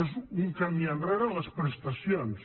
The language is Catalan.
és un camí enrere en les prestacions